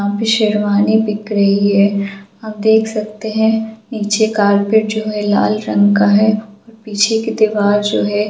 शेरवानी बिक रही है आप देख सकते है नीचे कार्पेट जो है लाल रंग का है पीछे के दिवार जो है --